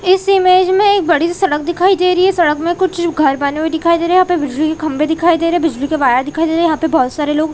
इस इमेज में एक बड़ी सी सड़क दिखाई दे रही है सड़क में कुछ घर बने हुए दिखाई दे रहे है यहाँ पे बिजली के खम्भे दिखाई दे रहे है बिजली के वायर दिखाई दे रहे है यहाँ पे बहोत सारे लोग--